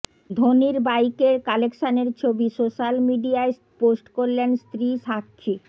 ধোনির বাইকের কালেকশনের ছবি সোশ্যাল মিডিয়ায় পোস্ট করলেন স্ত্রী সাক্ষী